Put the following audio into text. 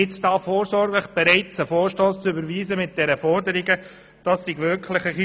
Es sei etwas zu viel, nun hier bereits vorsorglich einen Vorstoss mit diesen Forderungen zu überweisen.